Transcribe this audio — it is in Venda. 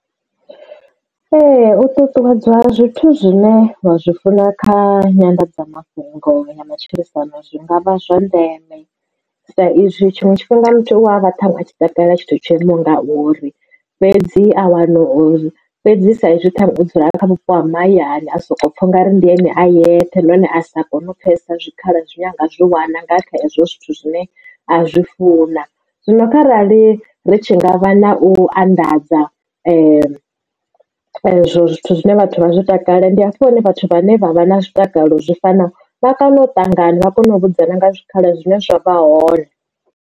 Ee u ṱuṱuwedzwa zwithu zwine wa zwi funa kha nyanḓadzamafhungo ya matshilisano zwi nga vha zwa ndeme, sa izwi tshiṅwe tshifhinga muthu u a vha ṱhaṅwe a tshi takalela tshithu tsho imaho nga uri fhedzi a wana uri fhedzi sa izwi o dzula kha vhupo ha mahayani a soko pfha u nga ri ndi ene a yeṱhe nahone a sa kone u pfesesa zwikhala zwi ne anga zwiwana nga kha ezwo zwithu zwine a zwi funa zwino kharali ri tshi ngavha na u anḓadza zwithu zwine vhathu vha zwi takalela ndi hafho hune vhathu vhane vha vha na zwi takalela zwi fanaho vha kone u ṱangana vha kone u vhudzwa na nga zwikhala zwine zwavha hone.